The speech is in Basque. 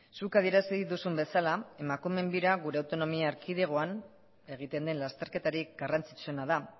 zuk adierazi duzun bezala emakumeen bira gure autonomia erkidegoan egiten den lasterketarik garrantzitsuena da